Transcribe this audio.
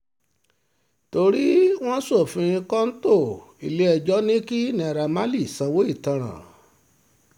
torí wọ́n ṣe ṣòfin kọ́ńtò ilé-ẹjọ́ ní kí naira marley sanwó ìtanràn